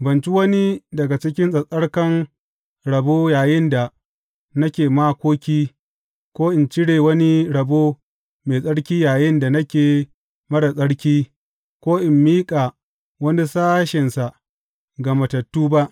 Ban ci wani daga cikin tsattsarkan rabo yayinda nake makoki, ko in cire wani rabo mai tsarki yayinda nake marar tsarki, ko in miƙa wani sashensa ga matattu ba.